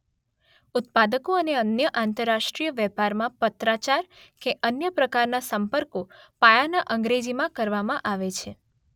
ઉત્પાદકો અને અન્ય આંતરરાષ્ટ્રીય વેપારમાં પત્રાચાર કે અન્ય પ્રકારના સંપર્કો પાયાના અંગ્રેજીમાં કરવામાં આવે છે.